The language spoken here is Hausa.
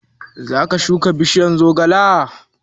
Zaka shuka bishiyar zogale?